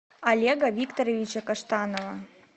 олега викторовича каштанова